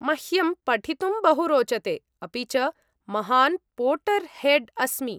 मह्यं पठितुं बहु रोचते, अपि च महान् पोटर् हेड् अस्मि।